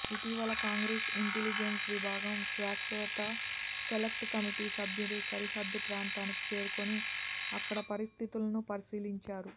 ఇటీవల Congress intelligence విభాగం శాశ్వత సెలెక్టు కమిటీ సభ్యులు సరిహద్దు ప్రాంతానికి చేరుకుని అక్కడి పరిస్థితులను పరిశీలించారు